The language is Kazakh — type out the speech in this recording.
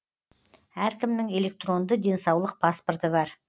әркімнің электронды денсаулық паспорты бар